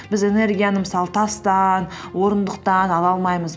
біз энергияны мысалы тастан орындықтан ала алмаймыз